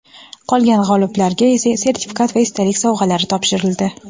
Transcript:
qolgan g‘oliblarga esa sertifikat va esdalik sovg‘alari topshirildi.